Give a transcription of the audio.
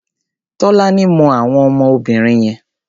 Tolani mọ àwọn ọmọ obìnrin yẹn.